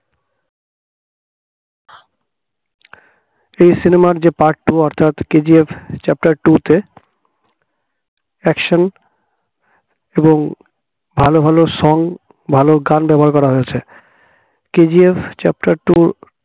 এই cinema র যে part two অর্থাৎ KGF chapter two তে action এবং ভালো ভালো সং ভালো গান ব্যবহার করা হয়েছে KGF chapter two